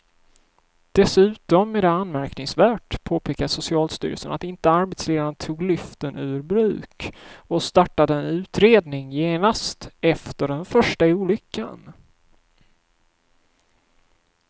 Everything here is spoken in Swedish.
Dessutom är det anmärkningsvärt, påpekar socialstyrelsen, att inte arbetsledaren tog lyften ur bruk och startade en utredning genast efter den första olyckan.